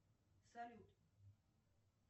салют